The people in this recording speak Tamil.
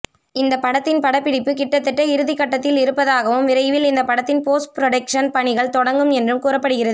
இந்த படத்தின் படப்பிடிப்பு கிட்டத்தட்ட இறுதிக்கட்டத்தில் இருப்பதாகவும் விரைவில் இந்த படத்தின் போஸ்ட் புரடொக்ஷன் பணிகள் தொடங்கும் என்றும் கூறப்படுகிறது